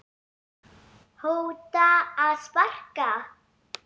hóta að sparka